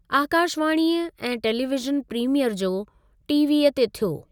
आकाशवाणीअ ऐं television premiere जो टीवीअ ते थियो।